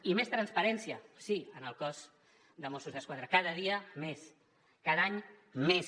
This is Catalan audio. i més transparència sí en el cos de mossos d’esquadra cada dia més cada any més